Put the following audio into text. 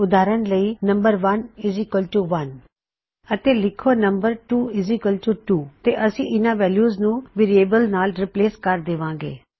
ਉਦਾਹਰਨ ਲਈ ਲਿਖੋ ਨੰਮ1 1 ਅਤੇ ਲਿਖੋ ਨੰਮ 2 2 ਤੇ ਅਸੀ ਇਨ੍ਹਾ ਵੈਲਯੂਜ਼ ਨੂੰ ਵੇਰਿਏਬਲਜ਼ ਨਾਲ ਰਿਪਲੇਸ ਕਰ ਦੇਵਾਂ ਗੇ